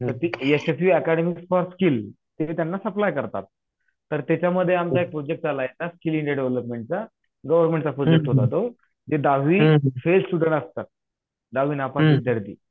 मग ती Yashaswi academy for skill तिथे त्यांना सप्लाय करतात. तर त्याच्यामध्ये आमचा एक प्रोजेक्ट चालायचा डेव्हलपमेंटचा गव्हर्नमेन्टचा प्रोजेक्ट होता तो ते दहावी असतात दहावी नापास विद्यार्थी